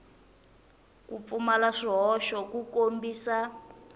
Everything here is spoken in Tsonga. ku pfumala swihoxo ku kombisa